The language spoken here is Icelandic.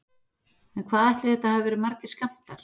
En hvað ætli þetta hafi verið margir skammtar?